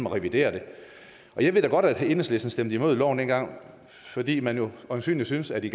revidere det jeg ved da godt at enhedslisten stemte imod loven dengang fordi man jo øjensynligt syntes at det